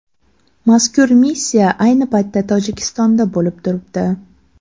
Mazkur missiya ayni paytda Tojikistonda bo‘lib turibdi.